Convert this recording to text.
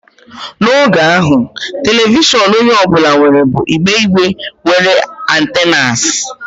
N'oge ahụ, telivishọn onye ọ bụla nwere bụ igbe igbe nwere antennas.